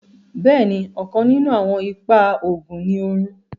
Bẹ́ẹ̀ni, ọ̀kàn ninún awọn ìpà oogun náà ní orun